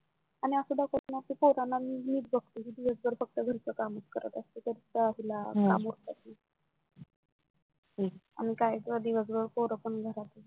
आणि अस दाखवतात ना पोरांना मीच बघते असते मीन दिवसभर घरच कामच करत असते आई ला काम उरकत नाही अन काय ग दिवस भर पोर पण घरात